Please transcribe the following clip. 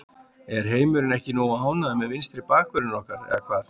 Er heimurinn ekki nógu ánægður með vinstri bakvörðinn okkar eða hvað?